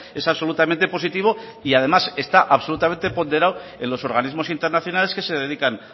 es absolutamente positivo y además está absolutamente ponderado en los organismos internacionales que se dedican